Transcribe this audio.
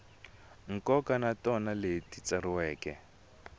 nkoka na tona ti tsariwile